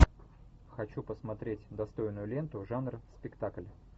хочу посмотреть достойную ленту жанр спектакль